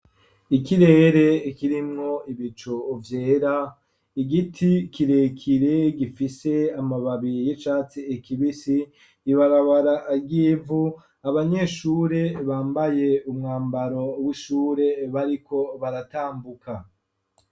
Ikirere ikirimwo ibicuvyera, igiti kirekire gifise amababi yicatsi kibisi ,ibarabara ryivu ,abanyeshure bambaye umwambaro w'ishure bariko baratambuka.